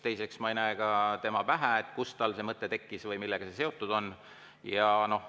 Teiseks, ma ei näe ka tema pähe, kust tal see mõte tekkis või millega see seotud on.